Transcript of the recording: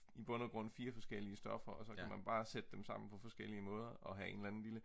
i bund af grund 4 forskellige stoffer og så kan man bare sætte dem sammen på forskellige måder og have en eller anden lille